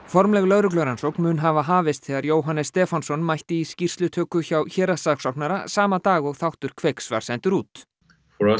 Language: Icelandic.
formleg lögreglurannsókn mun hafa hafist þegar Jóhannes Stefánsson mætti í skýrslutöku hjá héraðssaksóknara sama dag og þáttur Kveiks var sendur út að